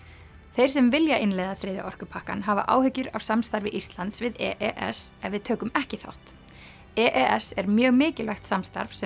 þeir sem vilja innleiða þriðja orkupakkann hafa áhyggjur af samstarfi Íslands við e s ef við tökum ekki þátt e e s er mjög mikilvægt samstarf sem